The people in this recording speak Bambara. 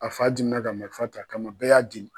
A fa dimina ka marifa t'a kama bɛɛ y'a deli